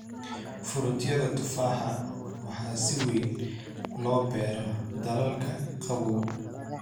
Fruityada tufaaxa waxaa si weyn loo beeraa dalalka qabow.